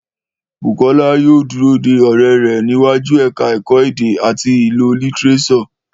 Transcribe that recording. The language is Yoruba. Bùkọ́lá yóò dúró de ọ̀rẹ́ rẹ̀ níwájú ẹ̀ka ẹ̀kọ́ Èdè àti ìlò lítíréṣọ̀